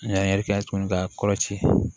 An y'an yɛrɛ kɛ tuguni ka kɔlɔ ci